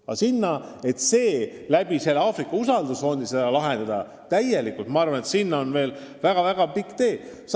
Aga selleni, et see probleem Aafrika usaldusfondi abil täielikult lahendada, on veel väga-väga pikk tee.